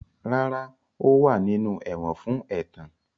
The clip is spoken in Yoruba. Rara, o wa ninu ẹwọn fun ẹtan.